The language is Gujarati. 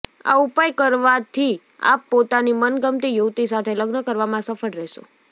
આ ઉપાય કરવાથી આપ પોતાની મનગમતી યુવતી સાથે લગ્ન કરવામાં સફળ રહેશો